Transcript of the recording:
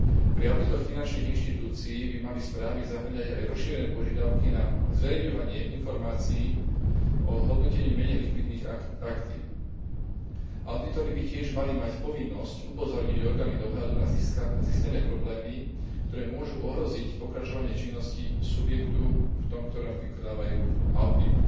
Pri auditoch finančných inštitúcii by mali správy zahŕňať aj rozšírené požiadavky na zverejňovanie informácií o hodnotení menej likvidných aktív. Audítori by tiež mali mať povinnosť upozorniť orgány dohľadu na zistené problémy, ktoré môžu ohroziť pokračovanie činností subjektu, v ktorom vykonávajú audit.